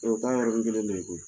O ta ye yɔrɔni kelen de ye koyi